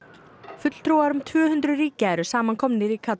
fulltrúar um tvö hundruð ríkja eru saman komnir í